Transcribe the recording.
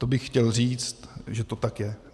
To bych chtěl říct, že to tak je.